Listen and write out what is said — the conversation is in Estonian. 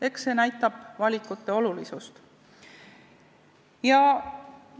Eks see näitab seda, millist valikut oluliseks peetakse.